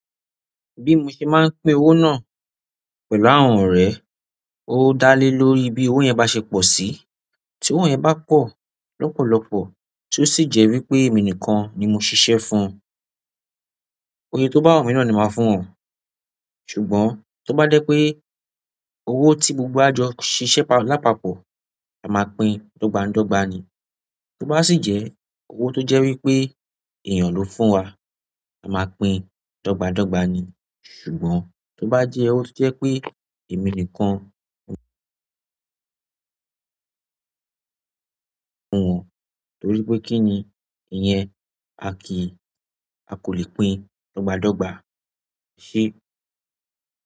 Bí mo ṣe máa ń pín owó náà pẹ̀lú àwọn ọ̀rẹ́, ó dá lé lórí bí owó yẹn bá ṣe pọ̀ sí. Tí owó yẹn bá pọ̀ lọ́pọ̀lọpọ̀ tí ó sì jẹ́ wípé èmi nìkan ni mo ṣiṣẹ́ fún, iye tó bá wù mí náà ni màá fún wọn. Ṣùgbọ́n tí ó bá dé pé owó tí gbogbo jọ ṣiṣẹ́ lápapọ̀, a máa pín dọgbadọgba ni. Tí ó bá sì jẹ́ owó tó jẹ́ wípé èèyàn ló fún wa, a máa pín dọ́gba dọ́gba ni. Ṣùgbọ́n to ba je ọwọ to je pé emi nìkan fún wọn, torí pé kí ni ìyẹn, a kì í, a kò lè pín dọ́gba dọ́gba. Ṣé?